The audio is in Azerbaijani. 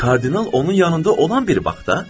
Kardinal onun yanında olan bir vaxtda?